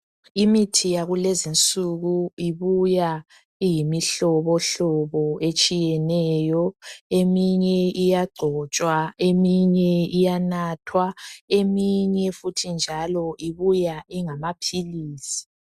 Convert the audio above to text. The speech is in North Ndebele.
Imithi yakulezinsuku ibuya iyimihlobohlobo etshiyeneyo. Eminye iyagcotshwa eminye iyanathwa eminye futhi njalo ibuya ingamaphilisi.